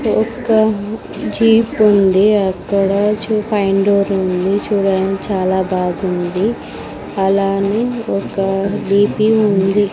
ఒక జీపు ఉంది అక్కడ చూ పైన డోర్ ఉంది చూడడానికి చాలా బాగుంది అలానే ఒక బిపి ఉంది.